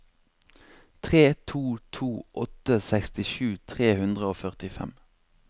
tre to to åtte sekstisju tre hundre og førtifem